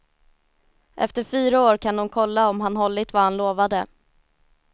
Efter fyra år kan de kolla om han hållit vad han lovade.